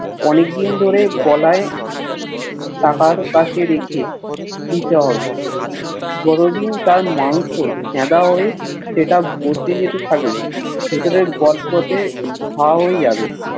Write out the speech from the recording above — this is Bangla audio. অনেক দিন ধরে গলায় কাটার কাছে রেখে দিতে হবে যতদিন তার মাংস ছেদা হয়ে সেটা বসে যেতে থাকবে ভেতরের গতগতে ঘা হয়ে যাবে